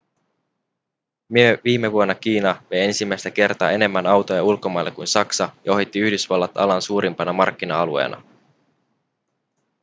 viime vuonna kiina vei ensimmäistä kertaa enemmän autoja ulkomaille kuin saksa ja ohitti yhdysvallat alan suurimpana markkina-alueena